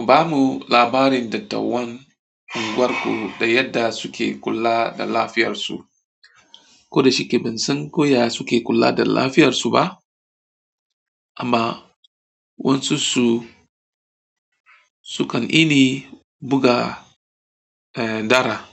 Ku bamu labarin dattawan unguwarku da yadda suke kula da lafiyar su. Ko da shike ban san ko yaya suke kula da lafiyar su ba amma wasu su sukan ini buga eh dara